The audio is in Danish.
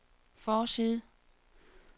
forside